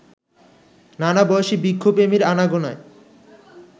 নানাবয়সী বৃক্ষপ্রেমীর আনাগোনায়